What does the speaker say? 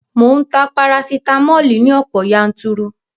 Mò ń ta parasitamoli ní ọ̀pọ̀ yanturu